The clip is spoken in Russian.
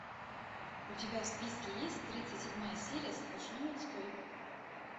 у тебя в списке есть тридцать седьмая серия сплошной отстой